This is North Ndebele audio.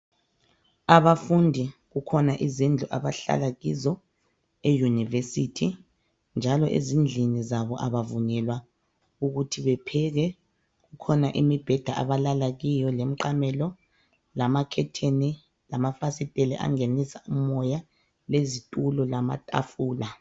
Abafundi kukhona izindlu abahlala kizo eUniversity njalo ezindlini zabo abavunyelwa ukuthi bepheke. Kukhona imibheda abahlala kiyo lemiqamelo lamakhetheni lamafasitela angenise umoya lezitulo lamatafula.